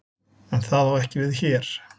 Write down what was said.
En það á ekki við hér.